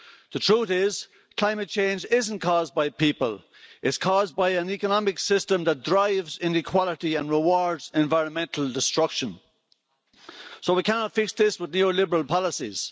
The truth is, climate change isn't caused by people, it's caused by an economic system that drives inequality and rewards environmental destruction. We cannot fix this with neo liberal policies.